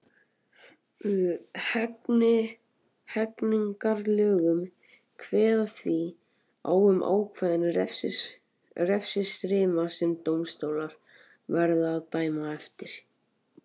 Hegningarlögin kveða því á um ákveðinn refsiramma sem dómstólar verða að dæma eftir.